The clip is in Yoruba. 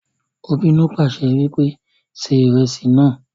Ó bínú pàṣẹ wípé "ṣe ìrẹsì náà"